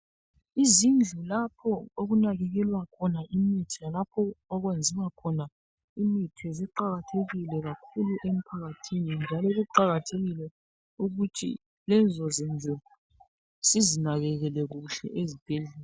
izindlu lapha okunakekelwa khona imithi lalapho okwenziwa khona imithi ziqakathekile kakhulu emphakathi njalo kuqakathekile ukuthi lezo zindlu sizinakekele kuhle ezibhedlela